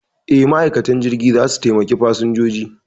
E, ma'aikatan jirgi za su taimaki fasinjoji.